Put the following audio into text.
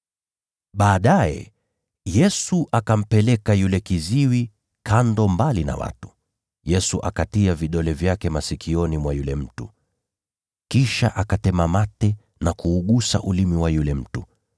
Baadaye Yesu akampeleka yule kiziwi kando mbali na watu, Yesu akatia vidole vyake masikioni mwa yule mtu. Kisha akatema mate na kuugusa ulimi wa yule mtu.